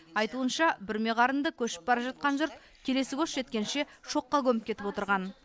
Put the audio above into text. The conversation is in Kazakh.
айтуынша бүрме қарынды көшіп бара жатқан жұрт келесі көш жеткенше шоққа көміп кетіп отырған